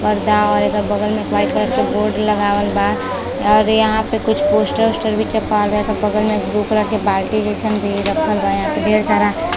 पर्दा और एकर बगल में वाइट कलर के बोर्ड लगावल बा और यहां पे कुछ पोस्टर उस्टर भी चिपकावल बा। एकर बगल में ब्लू कलर की बाल्टी भी संग रखल बा यहां पर ढेर सारा।